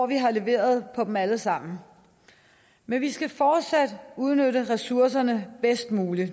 vi har leveret på dem alle sammen men vi skal fortsat udnytte ressourcerne bedst muligt